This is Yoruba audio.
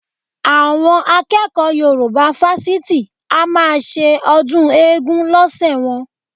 Àwọn akẹ́kọ̀ọ́ Yorùbá fásitì a máa ṣe ọdún eégún lọ́sẹ̀ wọn